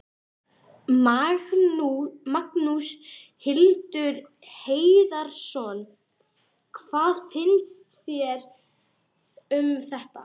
Magnús Hlynur Hreiðarsson: Hvað finnst þér um þetta?